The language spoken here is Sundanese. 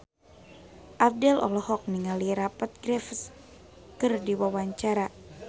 Abdel olohok ningali Rupert Graves keur diwawancara